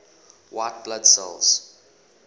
white blood cells